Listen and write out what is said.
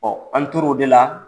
Ɔ an tor'o de la.